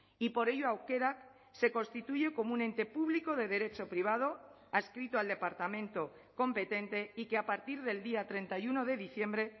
y por ello aukerak se constituye como un ente público de derecho privado adscrito al departamento competente y que a partir del día treinta y uno de diciembre